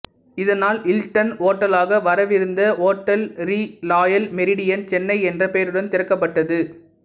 இதனால் ஹில்டன் ஹோட்டலாக வரவிருந்த hotel Le Royal Meridien Chennai என்ற பெயருடன் திறக்கப்பட்டது